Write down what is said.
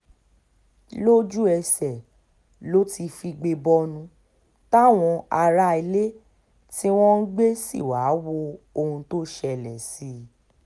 lójú-ẹsẹ̀ lo ti figbe bọnu táwọn aráalé tí wọ́n ń gbé sí wàá wo ohun tó ń ṣẹlẹ̀ sí i